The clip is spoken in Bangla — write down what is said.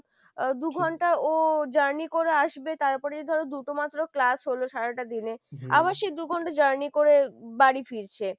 আহ দু'ঘন্টা ও journey করে আসবে তারপরে ধরো দুটো মাত্র class হলো সারাটা দিনে আবার সেই দু'ঘণ্টা journey করে বাড়ি ফিরছে ,